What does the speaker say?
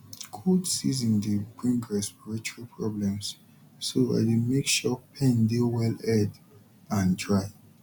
cold season dey bring respiratory problems so i dey make sure pen dey well aired and dry